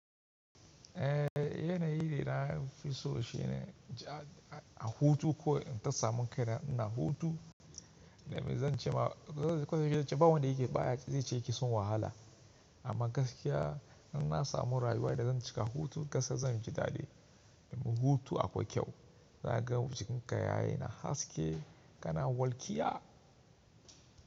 Eh yanayi da na fiso shi ne a hutu ko in ta samu kai na ina hutu, da mai zan ce ma, ban wanda yake baya zai ce yake so wahala. Amma gaskiya in na samu rayuwa yanda zan cika hutu ƙasa zan ji daɗi. Hutu akwai kyau, za ka gan jikin ka yana haske, ka na walkiya.